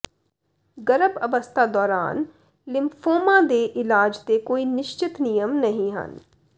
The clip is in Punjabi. ਗਰਭ ਅਵਸਥਾ ਦੌਰਾਨ ਲਿਮਫ਼ੋਮਾ ਦੇ ਇਲਾਜ ਦੇ ਕੋਈ ਨਿਸ਼ਚਿਤ ਨਿਯਮ ਨਹੀਂ ਹਨ